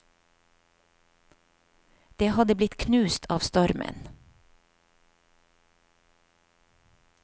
Det hadde blitt knust av stormen.